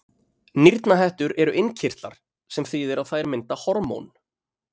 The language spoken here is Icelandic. Nýrnahettur eru innkirtlar, sem þýðir að þær mynda hormón.